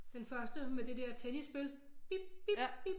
Den første med det der tennisspil bip bip